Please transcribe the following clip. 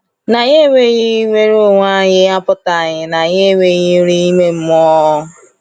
Na anyị enweghị nnwere onwe anyị apụtaghị na anyị enweghị nri ime mmụọ.